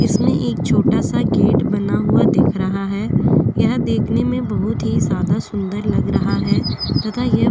इसमें एक छोटा सा गेट बना हुआ दिख रहा है यह देखने में बहुत ही ज्यादा सुंदर लग रहा है तथा यह --